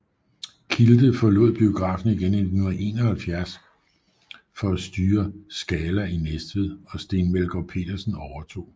Kilde forlod biografen igen i 1971 for at styre Scala i Næstved og Steen Melgård Petersen overtog